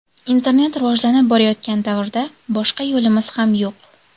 Internet rivojlanib borayotgan davrda boshqa yo‘limiz ham yo‘q.